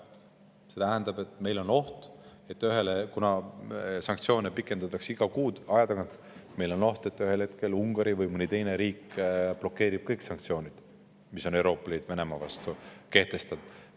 See tähendab, et kuna sanktsioone pikendatakse iga kuu aja tagant, on meil oht, et ühel hetkel Ungari või mõni teine riik blokeerib kõik sanktsioonid, mis Euroopa Liit on Venemaa vastu kehtestanud.